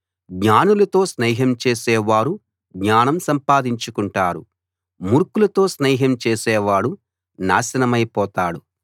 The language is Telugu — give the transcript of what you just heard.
జ్ఞానులతో స్నేహం చేసే వారు జ్ఞానం సంపాదించుకుంటారు మూర్ఖులతో స్నేహం చేసేవాడు నాశనమైపోతాడు